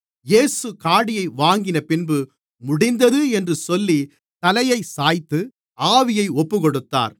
இயேசு காடியை வாங்கினபின்பு முடிந்தது என்று சொல்லி தலையைச் சாய்த்து ஆவியை ஒப்புக்கொடுத்தார்